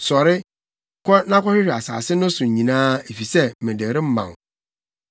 Sɔre, kɔ na kɔhwehwɛ asase no so nyinaa, efisɛ mede rema wo.”